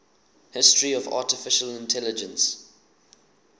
history of artificial intelligence